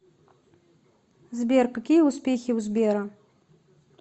сбер какие успехи у сбера